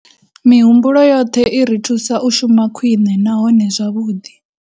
Mihumbulo yoṱhe i ri thusa u shuma khwiṋe nahone zwavhuḓi.